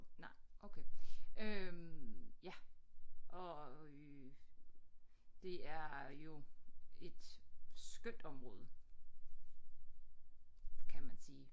Nej okay øh ja og øh det er jo et skønt område kan man sige